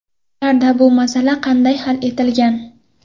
Ularda bu masala qanday hal etilgan?